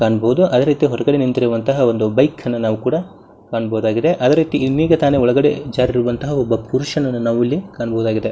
ಕಾಣಬಹುದು ಅದೇ ರೀತಿ ಹೊರಗಡೆ ನಿಂತಿರುವಂತ ಒಂದು ಬೈಕ್ ಅನ್ನ ನಾವು ಕೂಡ ಕಾಣಬಹುದಾಗಿದೆ. ಅದೇ ರೀತಿ ಈಗತಾನೇ ಒಳಗಡೆ ಜಾರಿರುವಂತಹ ಒಬ್ಬ ಪುರುಷನನ್ನ ನಾವು ಇಲ್ಲಿ ಕಾಣಬಹುದಾಗಿದೆ.